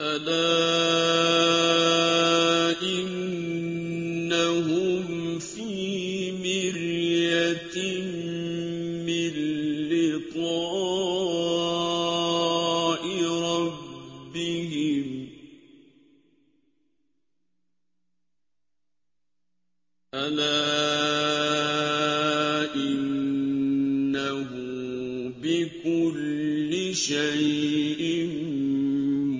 أَلَا إِنَّهُمْ فِي مِرْيَةٍ مِّن لِّقَاءِ رَبِّهِمْ ۗ أَلَا إِنَّهُ بِكُلِّ شَيْءٍ